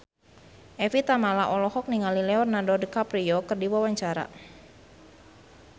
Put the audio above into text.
Evie Tamala olohok ningali Leonardo DiCaprio keur diwawancara